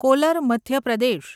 caller Madhya Pradesh